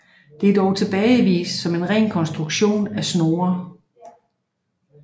Det er dog tilbagevist som en ren konstruktion af Snorre